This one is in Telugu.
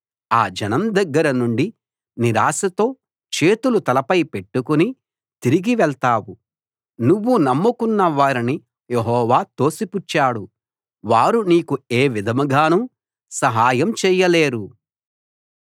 ఆ జనం దగ్గర నుండి నిరాశతో చేతులు తలపై పెట్టుకుని తిరిగి వెళ్తావు నువ్వు నమ్ముకున్న వారిని యెహోవా తోసిపుచ్చాడు వారు నీకు ఏ విధంగానూ సహాయం చేయలేరు